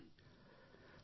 લાવણ્યા આભાર સર આભાર